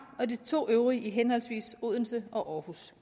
og de to øvrige ligger i henholdsvis odense og aarhus